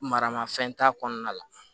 Maramafɛn t'a kɔnɔna la